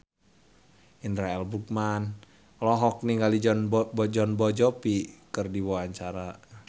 Indra L. Bruggman olohok ningali Jon Bon Jovi keur diwawancara